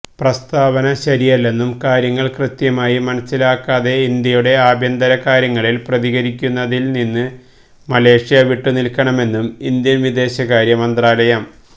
പ്രസ്താവന ശരിയല്ലെന്നും കാര്യങ്ങള് കൃത്യമായി മനസിലാക്കാതെ ഇന്ത്യയുടെ ആഭ്യന്തര കാര്യങ്ങളില് പ്രതികരിക്കുന്നതില്നിന്ന് മലേഷ്യ വിട്ടുനില്ക്കണമെന്നും ഇന്ത്യന് വിദേശകാര്യ മന്ത്രാലയം